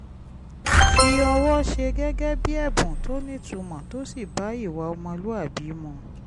fi ọwọ́ ṣe gẹ́gẹ́ bí ẹ̀bùn tó nítumọ̀ tó sì bá ìwà ọmọlúwàbí mu